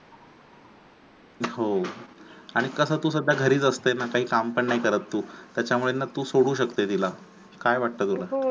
हो आणि कसं सध्या तू घरीच असते ना काही पण नाही करत तू त्याच्यामुळे ना तू सोडू शकते तिला काय वाटते तुला